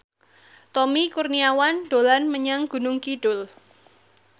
Tommy Kurniawan dolan menyang Gunung Kidul